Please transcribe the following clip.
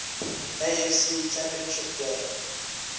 afc championship game